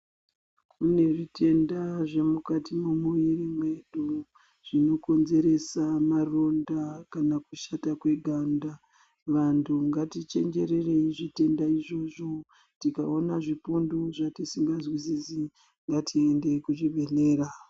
Kune zvitenda zvemukati memoyo mwedu zvinokonzeresa maronda kana kushata kweganda vantu ngatichenjererei zvitenda izvozvo tikaona zvipundu zvatisingazwisisi ngatiendei kuzvibhedhlera.